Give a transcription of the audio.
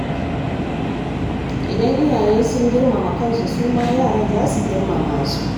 Idan iyaye sun girmama kansu, suma yara za su girmama su.